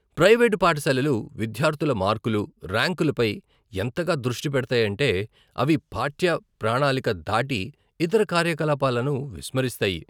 Private పాఠశాలలు విద్యార్థుల మార్కులు, ర్యాంకులపై ఎంతగా దృష్టి పెడతాయంటే, అవి పాఠ్య ప్రణాళిక దాటి ఇతర కార్యకలాపాలను విస్మరిస్తాయి.